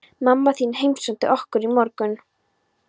Mamma þín heimsótti okkur í morgun.